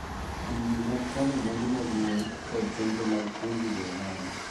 Grube mag kano mwandu mag mon, kod chenro mag puonjo jo ohala.